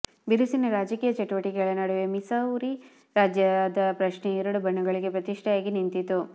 ಬಿರುಸಿನ ರಾಜಕೀಯ ಚಟುವಟಿಕೆಗಳ ನಡುವೆ ಮಿಸೌರಿ ರಾಜ್ಯದ ಪ್ರಶ್ನೆಯು ಎರಡು ಬಣಗಳಿಗೆ ಪ್ರತಿಷ್ಠೆಯಾಗಿ ನಿಂತಿತು